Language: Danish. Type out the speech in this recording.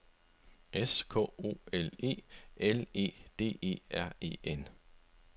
S K O L E L E D E R E N